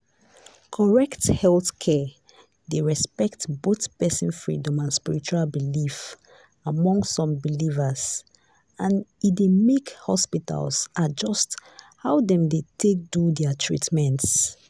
correct healthcare dey respect both person freedom and spiritual belief among some believers and e dey make hospitals adjust how dem dey do their treatment